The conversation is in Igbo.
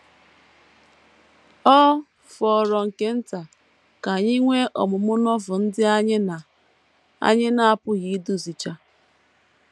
Ọ fọrọ nke nta ka anyị nwee ọmụmụ Novel ndị anyị na - anyị na - apụghị iduzicha. ”